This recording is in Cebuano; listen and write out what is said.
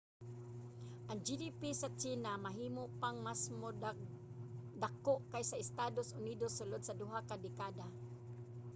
ang gdp sa tsina mahimo pang masmo dako kaysa sa estados unidos sulod sa duha ka dekada